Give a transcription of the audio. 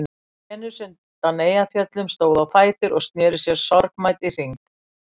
Venus undan Eyjafjöllum stóð á fætur og sneri sér sorgmædd í hring.